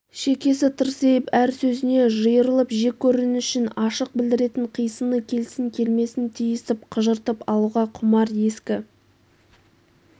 шекесі тырсиып әр сөзіне жиырылып жек көрінішін ашық білдіретін қисыны келсін-келмесін тиісіп қыжыртып алуға құмар ескі